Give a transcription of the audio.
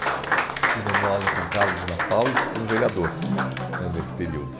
Fiquei dando aula em São Carlos e na FAU e sendo vereador né nesse período.